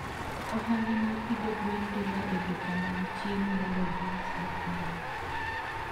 Ohala mag pidho gwen dhiga e duka mag chiemo mondo gius gik moko.